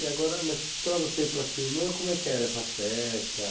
E agora, mas para você e para a sua irmã, como é que era essa festa?